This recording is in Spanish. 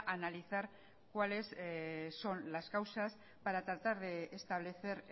analizar cuáles son las causas paratratar de establecer